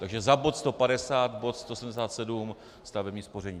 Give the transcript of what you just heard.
Takže za bod 150 bod 177, stavební spoření.